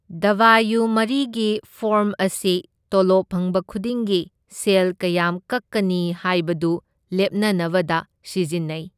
ꯗꯕꯌꯨ ꯃꯔꯤꯒꯤ ꯐꯣꯔꯝ ꯑꯁꯤ ꯇꯣꯂꯣꯞ ꯐꯪꯕ ꯈꯨꯗꯤꯡꯒꯤ ꯁꯦꯜ ꯀꯌꯥꯝ ꯀꯛꯀꯅꯤ ꯍꯥꯏꯕꯗꯨ ꯂꯦꯞꯅꯅꯕꯗ ꯁꯤꯖꯤꯟꯅꯩ꯫